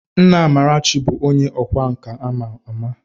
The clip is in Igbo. Nna Amarachi bụ onye ọkwá nkà a ma ama